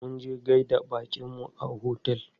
Munje gaida baƙinmu a otel.